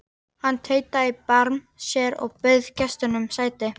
Hann tautaði í barm sér og bauð gestunum sæti.